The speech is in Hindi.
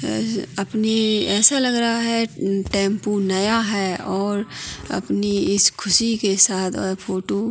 अह अपनी ऐसा लग रहा है टेम्पू नया है और अपनी इस ख़ुशी के साथ और फोटू --